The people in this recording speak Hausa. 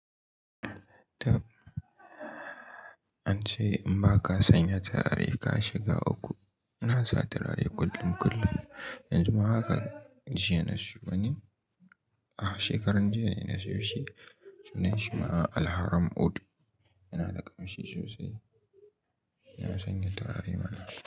Tab, ance in baka sanya turare ka shiga uku, inasa turare kullum kullum. Yanzu ma haka jiya na siyo wani, ah shekaran jiya na siyo shi sunan shi ma Alharram Oud. Yana da ƙamshi sosai, ina sanya turare na.